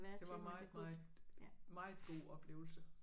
Det var meget meget mget god oplevelse